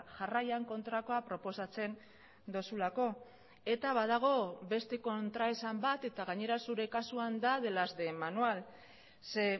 jarraian kontrakoa proposatzen duzulako eta badago beste kontraesan bat eta gainera zure kasuan da de las de manual ze